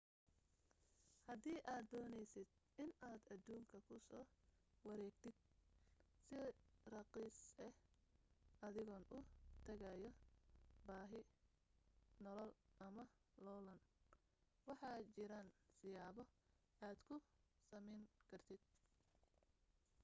hadii aad dooneysid inaad aduunka kusoo wareegtid si rakhiis ah adigoo u tagaayo baahi nolol ama loolan waxaa jiaan siyaabo aad ku samayn kartid